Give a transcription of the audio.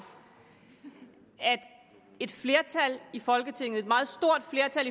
at et flertal i folketinget et meget stort flertal